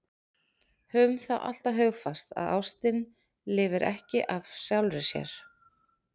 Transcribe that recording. Höfum það alltaf hugfast að ástin lifir ekki af sjálfri sér.